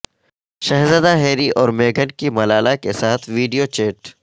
شہزادہ ہیری اور میگھن کی ملالہ کے ساتھ ویڈیو چیٹ